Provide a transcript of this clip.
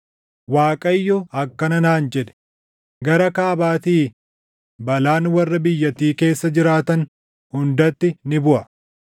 Waaqayyo akkana naan jedhe; “Gara kaabaatii balaan warra biyyattii keessa jiraatan hundatti ni buʼa.